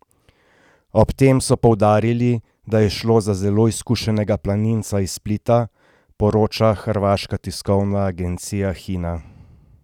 Ob tem so poudarili, da je šlo za zelo izkušenega planinca iz Splita, poroča hrvaška tiskovna agencija Hina.